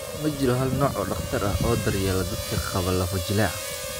Ma jiro hal nooc oo dhakhtar ah oo daryeela dadka qaba lafo-jileeca.